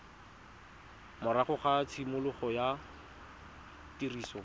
morago ga tshimologo ya tiriso